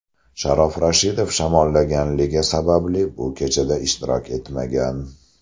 Sharof Rashidov shamollaganligi sababli bu kechada ishtirok etmagan.